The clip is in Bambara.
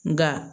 Nka